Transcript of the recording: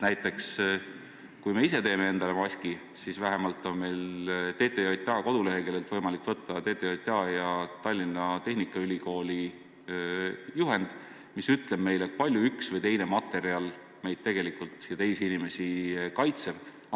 Näiteks, kui me teeme ise endale maski, siis on meil vähemalt võimalik TTJA koduleheküljelt võtta ameti ja Tallinna Tehnikaülikooli juhend, mis ütleb meile, kui palju üks või teine materjal tegelikult meid ja teisi inimesi kaitseb.